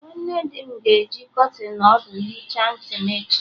Nwanne dị m ga-eji kọtịn ọdụ hicha ntị m echi